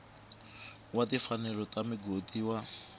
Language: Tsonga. wa timfanelo ta migodi wa